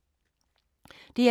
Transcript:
DR2